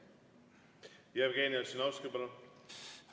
Jevgeni Ossinovski, palun!